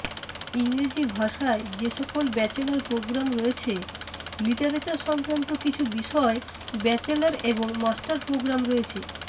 ইংরেজি ভাষায় যেসকল ব্যাচেলর প্রোগ্রাম রয়েছেঃ লিটারেচার সংক্রান্ত কিছু বিষয় ব্যাচেলর এবং মাস্টার প্রোগ্রাম রয়েছে